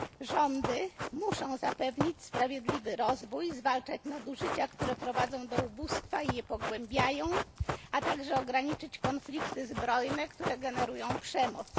Rządy muszą zapewnić sprawiedliwy rozwój, zwalczać nadużycia, które doprowadzają do ubóstwa i je pogłębiają, a także ograniczyć konflikty zbrojne, które generują przemoc.